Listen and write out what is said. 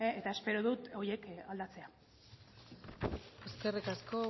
eta espero dut horiek aldatzea eskerrik asko